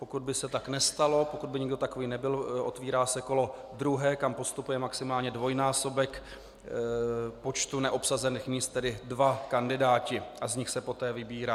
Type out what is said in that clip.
Pokud by se tak nestalo, pokud by nikdo takový nebyl, otvírá se kolo druhé, kam postupuje maximálně dvojnásobek počtu neobsazených míst, tedy dva kandidáti, a z nich se poté vybírá.